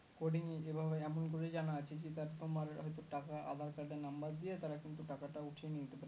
coding এভাবে এমন করে জানা আছে যে তোমার হয়তো টাকা aadhar card এর number দিয়ে তারা কিন্তু টাকাটা উঠিয়ে নিতে পারে